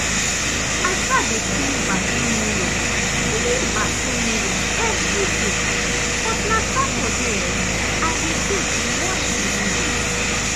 i um dey clean bathroom mirror clean bathroom mirror evriday but na saturday um i dey tek wash de windows.